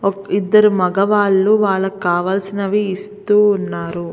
ఇద్దరు మగవాళ్లు వాళ్ళకి కావాల్సినవి ఇస్తూ ఉన్నారు.